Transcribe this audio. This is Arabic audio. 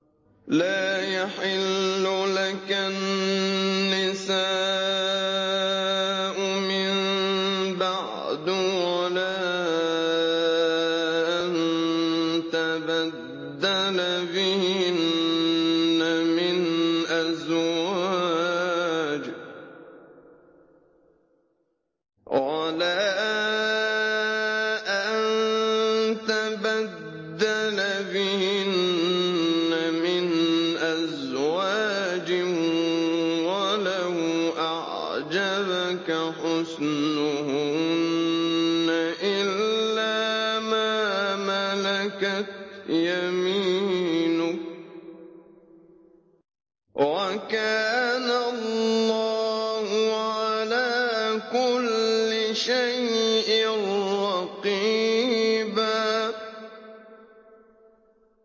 لَّا يَحِلُّ لَكَ النِّسَاءُ مِن بَعْدُ وَلَا أَن تَبَدَّلَ بِهِنَّ مِنْ أَزْوَاجٍ وَلَوْ أَعْجَبَكَ حُسْنُهُنَّ إِلَّا مَا مَلَكَتْ يَمِينُكَ ۗ وَكَانَ اللَّهُ عَلَىٰ كُلِّ شَيْءٍ رَّقِيبًا